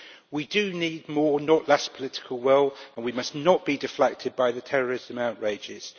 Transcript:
We do need more, not less political will, and we must not be deflected by the terrorism outrages.